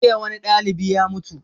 Jiya wani ɗalibi ya mutu